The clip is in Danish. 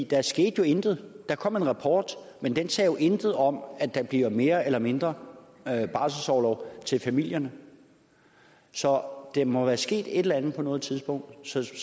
der skete jo intet der kom en rapport men den sagde jo intet om at der bliver mere eller mindre barselsorlov til familierne så der må være sket et eller andet på et tidspunkt sådan